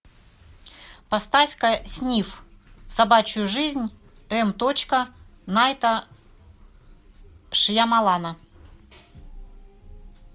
поставь ка сниф собачью жизнь м точка найта шьямолана